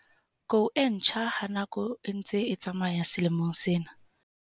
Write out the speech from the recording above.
Kou e ntjha ha nako e ntse e tsamaya selemong sena.